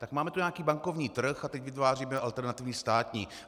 Tak máme tu nějaký bankovní trh a teď vytváříme alternativní státní.